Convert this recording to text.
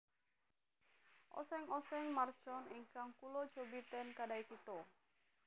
Oseng oseng mercon ingkang kulo cobi ten Kedai Kita